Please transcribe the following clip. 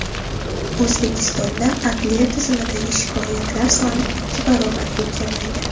O‘zbekistonda adliya tizimidagi shikoyatlar soni ikki barobarga kamaydi.